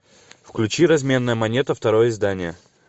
включи разменная монета второе издание